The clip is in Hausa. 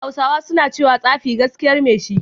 Hausawa suna cewa "Tsafi gaskiyar mai shi"